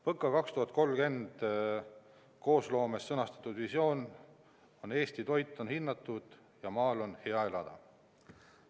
PõKa 2030 koosloomes sõnastatud visioon on: "Eesti toit on hinnatud ja maal on hea elada!